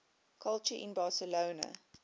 culture in barcelona